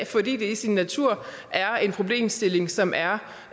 fordi det i sin natur er en problemstilling som er